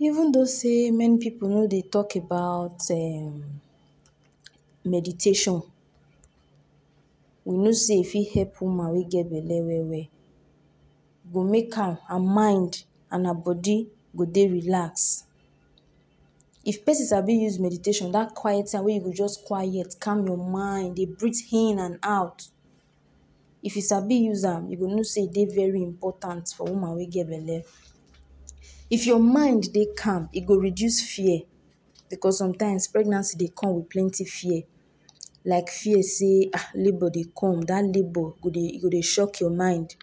Even dos say many pipu no de tok about um meditation, we no say if hep woman wey get belle well-well. Go make am her mind and her bodi go dey relax. If pesin sabi use meditation dat quiet am wey you jus quiet calm you mind de breathe in and out, if e sabi use am you go no say e de very important for woman we get belle. If your mind de calm e go reduce fear, becos sometimes pregnancy de come wit plenty fear, like fear say um labor de come dat labor go dey shoke your mind,